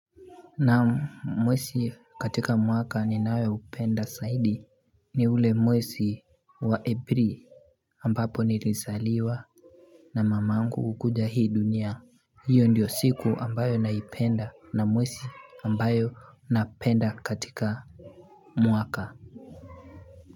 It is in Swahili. Naam mwezi katika mwaka ninayo upenda zaidi ni ule mwezi wa April ambapo nilizaliwa na mamangu kukuja hii dunia. Hiyo ndiyo siku ambayo naipenda na mwezi ambayo napenda katika mwaka.